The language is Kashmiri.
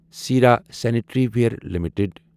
سرا سنیٹریوارٕ لٹٕڈ